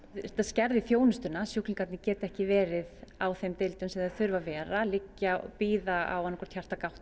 þetta skerðir þjónustuna sjúklingarnir geta ekki verið á þeim deildum sem þeir þurfa að vera þeir liggja og bíða annaðhvort